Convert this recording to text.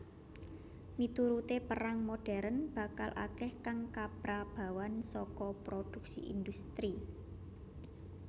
Miturute perang modern bakal akeh kang kaprabawan saka prodhuksi industri